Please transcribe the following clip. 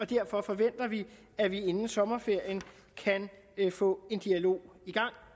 derfor forventer vi at vi inden sommerferien kan få en dialog i gang